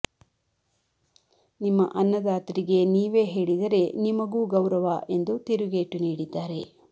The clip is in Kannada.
ನಿಮ್ಮ ಅನ್ನದಾತರಿಗೆ ನೀವೇ ಹೇಳಿದರೆ ನಿಮಗೂ ಗೌರವ ಎಂದು ತಿರುಗೇಟು ನೀಡಿದ್ದಾರೆ